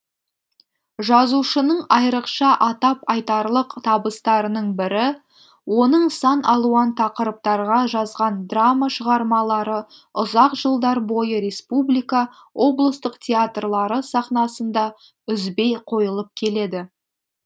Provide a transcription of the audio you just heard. жазушының айрықша атап айтарлық табыстарының бірі оның сан алуан тақырыптарға жазған драма шығармалары ұзақ жылдар бойы республика облыстық театрлары сахнасында үзбей қойылып келеді